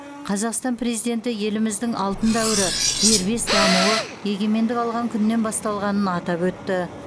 қазақстан президенті еліміздің алтын дәуірі дербес дамуы егемендік алған күннен басталғанын атап өтті